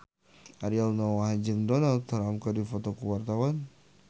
Ariel Noah jeung Donald Trump keur dipoto ku wartawan